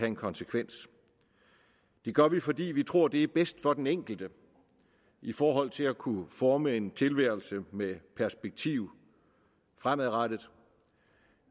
en konsekvens det gør vi fordi vi tror det er bedst for den enkelte i forhold til at kunne forme en tilværelse med perspektiv fremadrettet